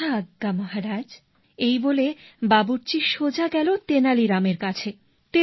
যথা আজ্ঞা মহারাজ এই বলে বাবুর্চি সোজা গেল তেনালী রামের কাছে